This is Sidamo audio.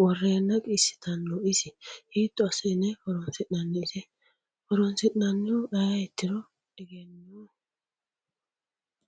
woreena qiisitano isi hiito asine horonsinani ise horonsiranohu ayitiro egenoo.